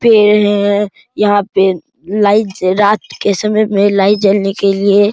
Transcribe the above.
पेड़ है यहां पे लाइट रात के समय में लाइट जलने के लिए --